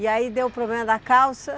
E aí deu o problema da calça.